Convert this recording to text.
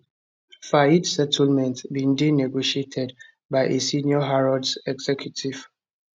fayed settlement bin dey negotiated by a senior harrods executive